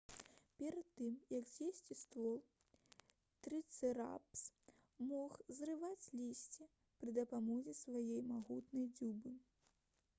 перад тым як з'есці ствол трыцэратапс мог зрываць лісце пры дапамозе сваёй магутнай дзюбы